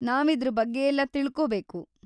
ನಾವ್ ಇದ್ರ್ ಬಗ್ಗೆಯೆಲ್ಲ ತಿಳ್ಕೋಬೇಕು.